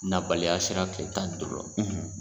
Nabaliya sera kile tan duuru la.